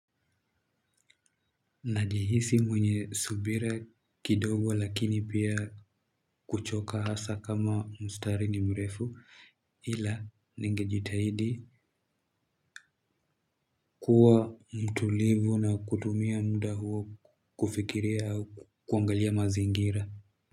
Najihisi mwenye subira kidogo lakini pia kuchoka hasa kama mstari ni mrefu ila ningejitahidi kuwa mtulivu na kutumia muda huo kufikiria au kuangalia mazingira.